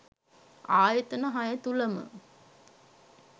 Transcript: ආයතන හය තුළම